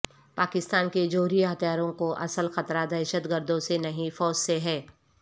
پاکستان کے جوہری ہتھیاروں کو اصل خطرہ دہشت گردوں سے نہیں فوج سے ہے